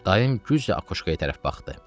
Dayım güclə akuşkaya tərəf baxdı.